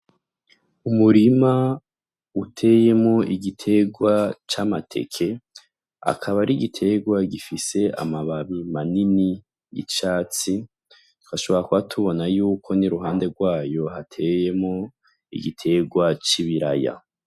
Umurima uteyemo igitegwa c'amateke akaba ari igiterwa gifise amababi manini icatsi hashobara ko hatubona yuko niruhande rwayo hateyemo igiterwa c'i biraya.